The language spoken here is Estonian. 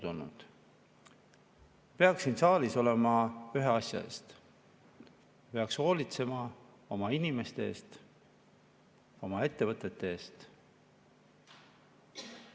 Siin saalis peaks olema ühe asja eest: peaks hoolitsema oma inimeste eest, oma ettevõtete eest.